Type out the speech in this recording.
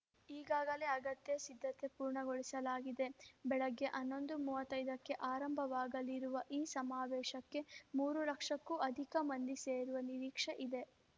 ಈಗಾಗಲೇ ಅಗತ್ಯ ಸಿದ್ಧತೆ ಪೂರ್ಣಗೊಳಿಸಲಾಗಿದೆ ಬೆಳಗ್ಗೆ ಹನ್ನೊಂದು ಮೂವತ್ತೈದಕ್ಕೆ ಆರಂಭವಾಗಲಿರುವ ಈ ಸಮಾವೇಶಕ್ಕೆ ಮೂರು ಲಕ್ಷಕ್ಕೂ ಅಧಿಕ ಮಂದಿ ಸೇರುವ ನಿರೀಕ್ಷೆ ಇದೆ